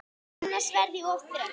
Annars verð ég of þreytt.